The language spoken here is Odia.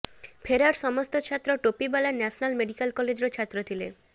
ଫେରାର ସମସ୍ତ ଛାତ୍ର ଟୋପିବାଲା ନ୍ୟାସନାଲ ମେଡିକାଲ କଲେଜର ଛାତ୍ର ଥିଲେ